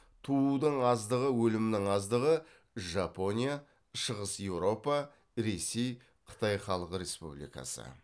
туудың аздығы өлімнің аздығы